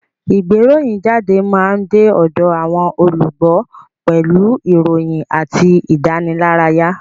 Ìgbéròyìnjáde máa ń de ọ̀dọ̀ àwọn olùgbọ́ pẹ̀lú ìròyìn àti ìdánilárayá